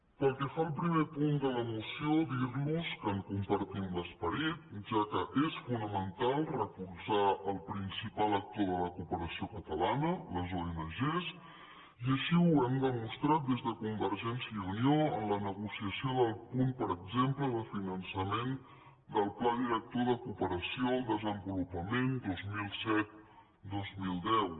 pel que fa al primer punt de la moció dir los que en compartim l’esperit ja que és fonamental recolzar el prin cipal actor de la cooperació catalana les ong i així ho hem demostrat des de convergència i unió en la negociació del punt per exemple de finançament del pla director de cooperació al desenvolupament dos mil set dos mil deu